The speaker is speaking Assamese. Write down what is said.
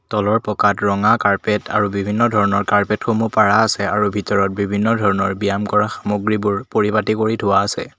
তলৰ পকাত ৰঙা কাৰ্পেট আৰু বিভিন্ন ধৰণৰ কাৰ্পেট সমূহ পৰা আছে আৰু ভিতৰত বিভিন্ন ধৰণৰ ব্যায়াম কৰা সামগ্ৰীবোৰ পৰিপাতি কৰি থোৱা আছে।